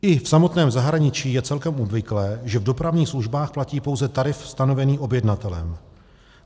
I v samotném zahraničí je celkem obvyklé, že v dopravních službách platí pouze tarif stanovený objednavatelem.